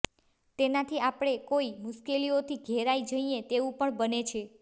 તેનાથી આપણે કોઈ મુશ્કેલીઓથી ઘેરાઈ જઈએ તેવું પણ બને છે